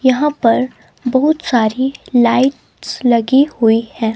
यहां पर बहुत सारी लाइट्स लगी हुई है.